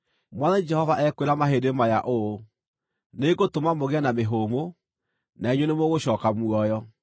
Mwathani Jehova ekwĩra mahĩndĩ maya ũũ: Nĩngũtũma mũgĩe na mĩhũmũ, na inyuĩ nĩmũgũcooka muoyo.